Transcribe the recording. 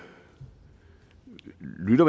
lytter